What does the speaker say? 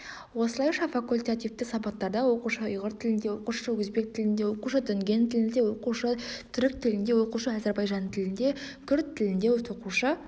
осылайша факультативті сабақтарда оқушы ұйғыр тілінде оқушы өзбек тілінде оқушы дүнген тілінде оқушы түрік тілінде оқушы әзірбайжан тілінде күрд тілінде тоқушы